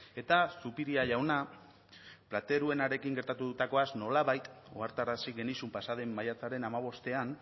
eta zupiria jauna plateruenarekin gertatutakoaz nolabait ohartarazi genizun pasa den maiatzaren hamabostean